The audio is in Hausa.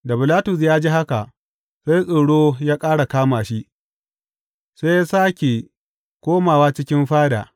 Da Bilatus ya ji haka, sai tsoro ya ƙara kama shi, sai ya sāke koma cikin fada.